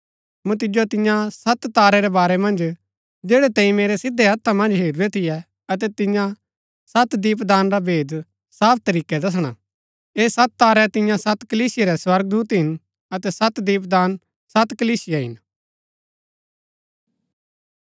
मूँ तिजो तियां सत तारै रै बारै मन्ज जैड़ै तैंई मेरै सिधै हत्था मन्ज हेरूरै थियै अतै तिन्या सत दीपदान रा भेद साफ तरीकै दसणा ऐह सत तारै तिन्या सत कलीसिया रै स्वर्गदूत हिन अतै सत दीपदान सत कलीसिया हिन